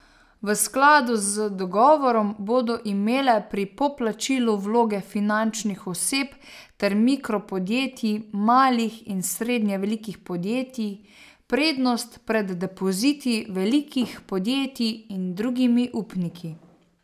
V skladu z dogovorom bodo imele pri poplačilu vloge fizičnih oseb ter mikropodjetij, malih in srednje velikih podjetij prednost pred depoziti velikih podjetij in drugimi upniki.